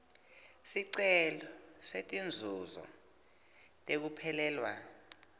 sicelo setinzuzo tekuphelelwa